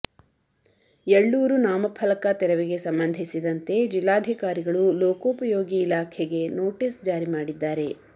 ಯಳ್ಳೂರು ನಾಮಫಲಕ ತೆರವಿಗೆ ಸಂಬಂಧಿಸಿದ್ದಂತೆ ಜಿಲ್ಲಾಧಿಕಾರಿಗಳು ಲೋಕೋಪಯೋಗಿ ಇಲಾಖೆಗೆ ನೋಟಿಸ ಜಾರಿ ಮಡಿದ್ದಾರೆ